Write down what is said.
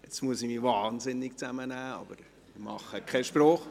Ich muss mich jetzt wahnsinnig zusammenreissen, aber ich mache keinen Spruch.